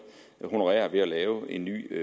honorerer ved at lave en ny